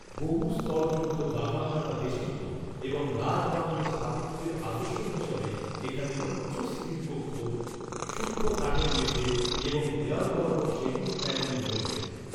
বহুস্তরযুক্ত বাগান দ্বারা বেষ্টিত, এবং রাজ বাংলো স্থাপত্যের আদর্শ হিসাবে, এখানে উচ্চ সিলিং কক্ষ, সূক্ষ্ম কাঠের মেঝে এবং দেয়াল বরাবর সেগুন প্যানেলিং রয়েছে।